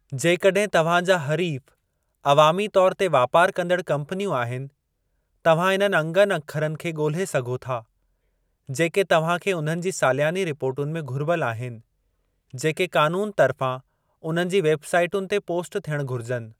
जेकॾहिं तवहां जा हरीफ़ु अवामी तौर ते वापारु कंदड़ु कम्पनियूं आहिनि, तवहां इन्हनि अंगनि-अखरनि खे ॻोल्हे सघो था जेके तव्हां खे उन्हनि जी सालियानी रिपोर्टुनि में घुरिबल आहिनि, जेके क़ानून तर्फ़ां उन्हनि जी वेब साइटुनि ते पोस्ट थियणु घुरिजुनि।